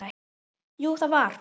Jú, það var það.